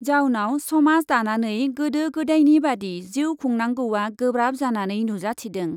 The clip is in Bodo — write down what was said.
जाउनाव समाज दानानै गोदो गोदायनि बादि जिउ खुंनांगौया गोब्राब जानानै नुजाथिदों।